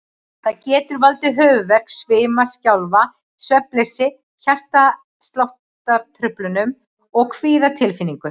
Það getur valdið höfuðverk, svima, skjálfta, svefnleysi, hjartsláttartruflunum og kvíðatilfinningu.